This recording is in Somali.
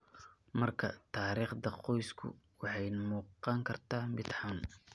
Markaa, taariikhda qoysku waxay u muuqan kartaa mid xun.